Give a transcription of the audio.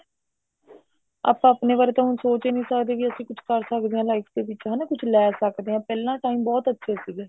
ਆਪਾਂ ਆਪਣੇ ਬਾਰੇ ਤਾਂ ਸੋਚ ਹੀ ਨੀ ਸਕਦੇ ਹਾਂ ਕੇ ਅਸੀਂ ਕੁੱਛ ਕਰ ਸਕਦੇ ਹਾਂ life ਦੇ ਵਿੱਚ ਹਨਾ ਕੁੱਛ ਲੈ ਸਕਦੇ ਹਾਂ ਪਹਿਲਾਂ time ਬਹੁਤ ਅੱਛੇ ਸੀਗੇ